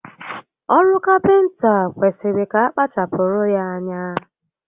Oru Kapịnta kwesịrị ka akpachapụrụ ya ányá